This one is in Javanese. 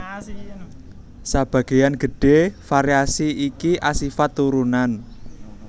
Sebagéyan gedhé variasi iki asifat turunan